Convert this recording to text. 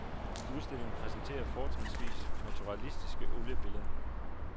Udstillingen præsenterer fortrinsvis naturalistiske oliebilleder.